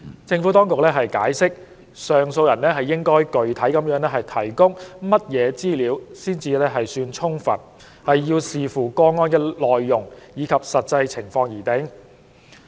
政府當局解釋，上訴人應具體地提供甚麼資料才算充分，要視乎個案的內容及實際情況而定。